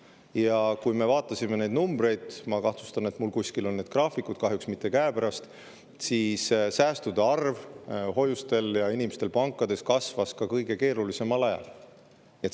Ja kui me vaatasime neid numbreid – ma kahtlustan, et mul kuskil on need graafikud, kahjuks mitte käepärast –, siis säästude arv hoiustel ja inimestel pankades kasvas ka kõige keerulisemal ajal.